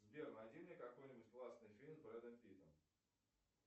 сбер найди мне какой нибудь классный фильм с брэдом питтом